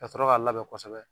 Kasɔrɔ k'a labɛ kɔsɛbɛ